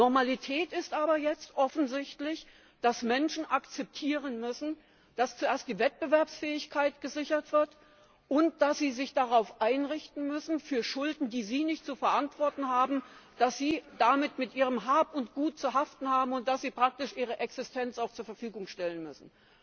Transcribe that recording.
Normalität ist aber jetzt offensichtlich, dass Menschen akzeptieren müssen, dass zuerst die Wettbewerbsfähigkeit gesichert wird und dass sie sich darauf einrichten müssen, für Schulden, die sie nicht zu verantworten haben, mit ihrem Hab und Gut zu haften, und dass sie praktisch ihre Existenz auch zur Verfügung stellen müssen.